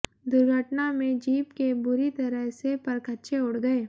दुर्घटना में जीप के बुरी तरह से परखच्चे उड़ गये